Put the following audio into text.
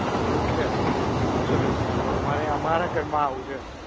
એવું છે. Insurance માં તો, અમારે અમારા ઘર માં આવું છે.